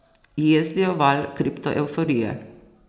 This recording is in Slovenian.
Jezdijo val kriptoevforije.